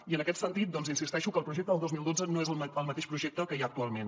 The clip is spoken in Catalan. i en aquest sentit insisteixo que el projecte del dos mil dotze no és el mateix projecte que hi ha actualment